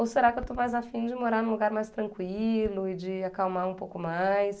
Ou será que eu estou mais afim de morar num lugar mais tranquilo e de acalmar um pouco mais?